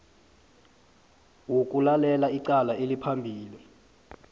wokulalela icala eliphambi